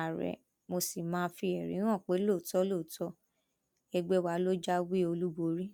àárẹ mo sì máa fi ẹrí hàn pé lóòótọ lóòótọ ẹgbẹ wa ló jáwé olúborí